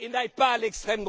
et n'aillent pas à l'extrême